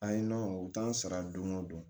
Ayi nɔnɔ u t'an sara don o don